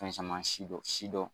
Fɛn caman sidɔn sidɔn.